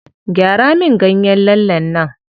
Gyara min ganyen lallen nan.